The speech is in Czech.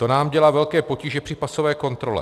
To nám dělá velké potíže při pasové kontrole.